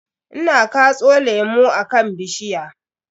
Ina katso lemu akan bishiya.